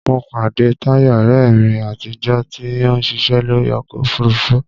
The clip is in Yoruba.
Mo pàdé Táyọ̀, ọ̀rẹ́ mi àtijọ́, tí ó ń ṣiṣẹ́ lórí ọkọ òfurufú